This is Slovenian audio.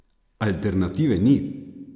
Alternative ni?